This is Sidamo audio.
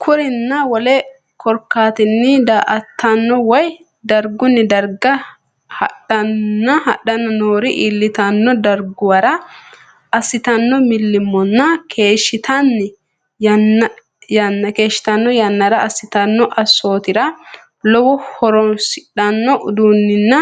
Kurinninna wole korkaattanni daa”ataano woy dargunni garga hadhan nori iillitanno darguwara assitanno millimmonninna keeshshitan yannara assitanno assootira lowohu horoonsidhanno uduunninna